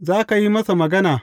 Za ka yi masa magana.